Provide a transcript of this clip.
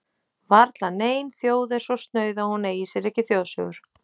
Varla nein þjóð er svo snauð að hún eigi sér ekki þjóðsögur.